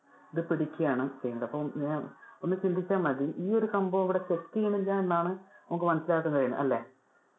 അത് പിടിക്കുവാണ്‌ ചെയ്യേണ്ടേ. അപ്പൊ ആഹ് ഒന്ന് ചിന്തിച്ചാൽ മതി ഈ ഒരു സംഭവം ഇവിടെ check ചെയ്യുന്നില്ല എന്നതാണ് നമുക്ക് മനസിലാക്കാൻ കഴിയുന്നത് അല്ലെ.